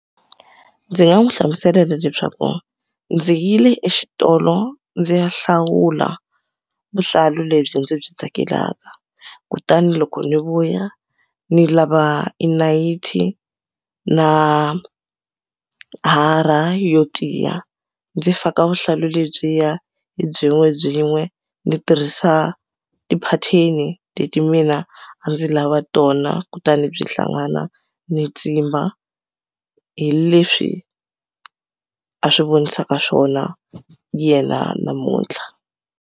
Ndzi nga n'wi hlamusela leswaku ndzi yile exitolo ndzi ya hlawula vuhlalu lebyi ndzi byi tsakelaka kutani loko ni vuya ni lava i nayiti na hara yo tiya ndzi faka vuhlalu lebyiya hi byin'webyin'we ni tirhisa ti-pattern leti mina a ndzi lava tona kutani byi hlangana ni tsimba hi leswi a swi vonisaka swona yena namuntlha.